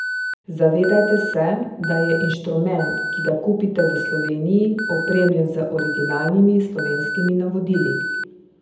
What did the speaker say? Zavedajte se, da je inštrument, ki ga kupite v Sloveniji, opremljen z originalnimi slovenskimi navodili.